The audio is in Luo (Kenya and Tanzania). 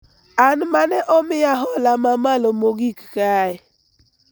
An mane omiya hola mamalo mogik kae